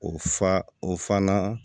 O fa o fana